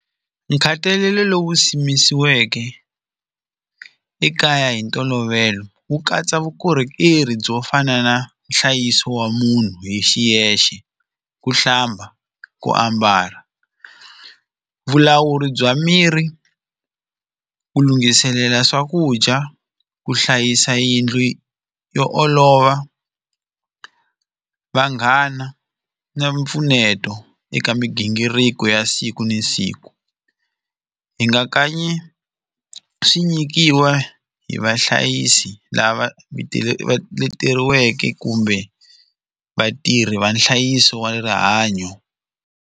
Nkhatalelo lowu simisiweke ekaya hi ntolovelo wu katsa vukorhokeri byo fana na nhlayiso wa munhu hi xiyexe ku hlamba ku ambala vulawuri bya miri ku lunghiselela swakudya ku hlayisa yindlu yo yo olova vanghana na mpfuneto eka migingiriko ya siku na siku hi nga kanyi swi nyikiwa hi vahlayisi lava leteriweke kumbe vatirhi va nhlayiso wa rihanyo.